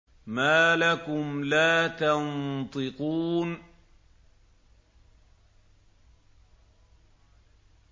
مَا لَكُمْ لَا تَنطِقُونَ